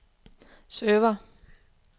server